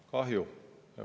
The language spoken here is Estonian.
Kahju!